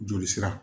Joli sira